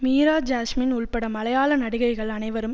மீராஜாஸ்மின் உள்பட மலையாள நடிகைகள் அனைவரும்